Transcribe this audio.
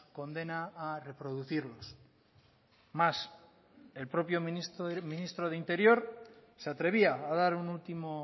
condena a reproducirlos más el propio ministro de interior se atrevía a dar un último